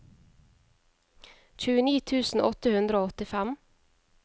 tjueni tusen åtte hundre og åttifem